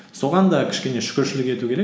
соған да кішкене шүкіршілік ету керек